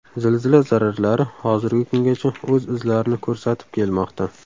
Zilzila zararlari hozirgi kungacha o‘z izlarini ko‘rsatib kelmoqda.